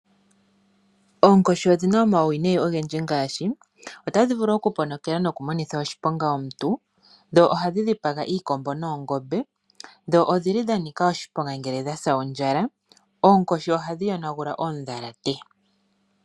Oonkoshi odhina omauwinayi ogendji ngaashi tadhi otadhi vulu oku ponokela noku monitha oshiponga omuntu, dho ohadhi dhipaga iikombo noongombe, dho odhili dha nika oshiponga ngele dhasa ondjala. Oonkoshi ohadhi yonagula oondhalate.